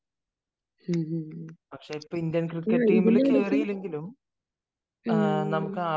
ഇതിന്റെ ഇടയ്ക്ക്